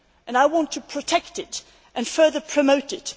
I want to protect this and further promote